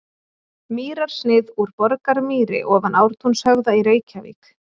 Mýrarsnið úr Borgarmýri ofan Ártúnshöfða í Reykjavík.